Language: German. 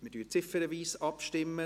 Wir stimmen ziffernweise ab.